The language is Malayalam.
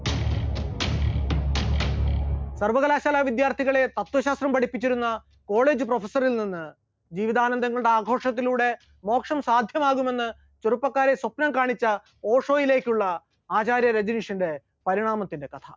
സർവകലാശാല വിദ്യാർത്ഥികളെ തത്വശാസ്ത്രം പഠിപ്പിച്ചിരുന്ന college professor ൽ നിന്ന് ജീവിതാനന്തങ്ങളുടെ ആഘോഷത്തിലൂടെ മോക്ഷം സാധ്യമാകുമെന്ന് ചെറുപ്പക്കാരെ സ്വപ്നം കാണിച്ച ഓഷോയിലേക്കുള്ള ആചാര്യ രജരീശ്വരന്റെ പരിണാമത്തിന്റെ കഥ